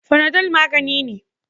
Fanadol magani ne.